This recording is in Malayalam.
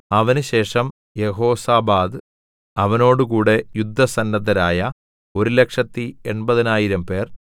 അവനുശേഷം യെഹോസാബാദ് അവനോടുകൂടെ യുദ്ധസന്നദ്ധരായ ഒരുലക്ഷത്തി എൺപതിനായിരംപേർ